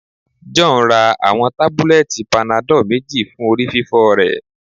John ra awọn tabulẹti panadol meji fun orififo rẹ